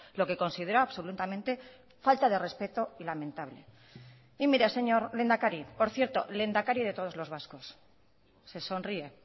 lo que considero absolutamente falta de respeto y lamentable y mire señor lehendakari por cierto lehendakari de todos los vascos se sonríe